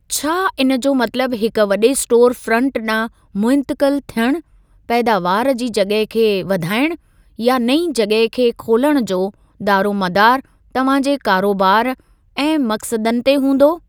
छा इन जो मतलबु हिक वॾे स्टोर फ्रंट ॾांहुं मुंतक़िल थियणु, पैदावार जी जॻह खे वधाइणु, या नईं जॻह खे खोलणु जो दारोमदारु तव्हां जे कारोबार ऐं मक़सदनि ते हूंदो?